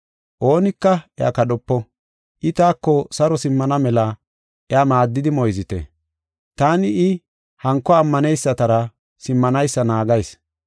Oonika iya kadhopo. I taako saro simmana mela iya maaddidi moyzite. Taani I hanko ammaneysatara simmanaysa naagayis.